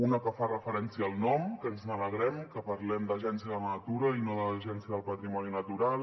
una que fa referència al nom que ens n’alegrem que parlem d’agència de la natura i no de l’agència del patrimoni natural